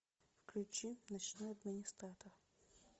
включи ночной администратор